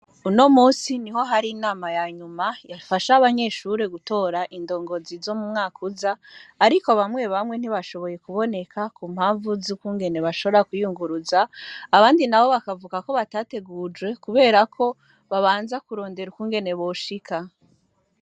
Unomusi niho hari inama yanyuma ,yafasha gutora indongozi zo m'umwaka uza, ariko bamwe bamwe ntibashoboye kuboneka kumpamvu z'ukungene bashobora kwiyuguruza, abandi nabo bakavuga ko batategujwe kubera ko babanza kurondera ukungene boshika.